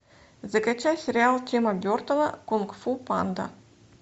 закачай сериал тима бертона кунг фу панда